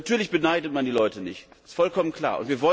Natürlich beneidet man die Leute nicht, das ist vollkommen klar.